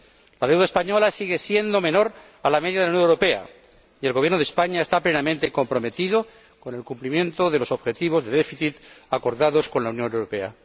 La deuda española sigue siendo menor a la media de la Unión Europea, y el Gobierno de España está plenamente comprometido con el cumplimiento de los objetivos de déficit acordados con la Unión Europea.